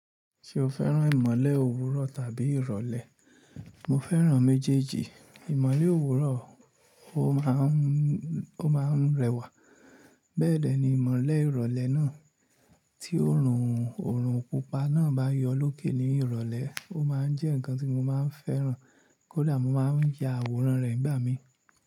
Ṣé o fẹ́ràn ìmọ̀le òwúrọ̀ tàbí ìrọ̀lẹ́? Mo fẹ́ràn méjèèjì. Ìmọ̀le òwúrọ̀, ó máa ń, ó máa ń rẹwà. Bẹ́ẹ̀dẹ̀ ni ìmọ̀le ìrọ̀lẹ́ náà tí òrùn òrùn pupa náà bá yọ lókè ní ìrọ̀lẹ́, ó máa ń jẹ́ nǹkan tí mo máa ń fẹ́ràn. Kódà mo máa ń ya àwòrán rẹ̀ nígbà mí.